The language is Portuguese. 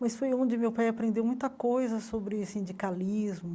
Mas foi onde meu pai aprendeu muita coisa sobre sindicalismo.